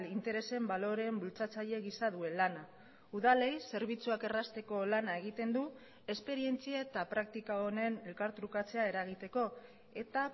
interesen baloreen bultzatzaile gisa duen lana udalei zerbitzuak errazteko lana egiten du esperientzia eta praktika honen elkartrukatzea eragiteko eta